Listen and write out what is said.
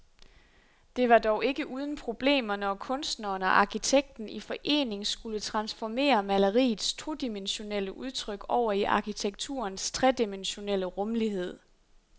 Det var dog ikke uden problemer, når kunstneren og arkitekten i forening skulle transformere maleriets todimensionelle udtryk over i arkitekturens tredimensionelle rumlighed.